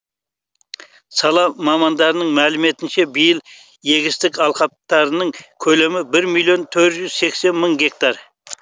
сала мамандарының мәліметінше биыл егістік алқаптарының көлемі бір миллион төрт жүз сексен мың гектар